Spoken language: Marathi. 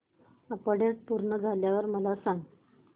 अपडेट पूर्ण झाल्यावर मला सांग